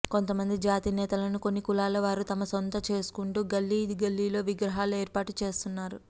కొంతమంది జాతి నేతలను కొన్ని కులాల వారు తమ సొంతం చేసుకుంటూ గల్లీ గల్లీలో విగ్రహాలు ఏర్పాటు చేస్తున్నారు